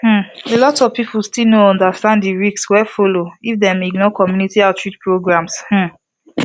um a lot of people still no understand the risk wey dey follow if dem ignore community outreach programs um